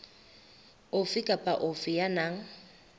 ofe kapa ofe ya nang